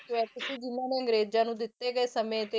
ਜਿਹਨਾਂ ਨੇ ਅੰਗਰੇਜ਼ਾਂ ਨੂੰ ਦਿੱਤੇ ਗਏ ਸਮੇਂ ਤੇ